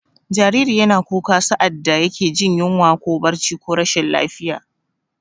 Jariri yana kuka sa'ad da yake jin yunwa ko barci ko rashin lafiya.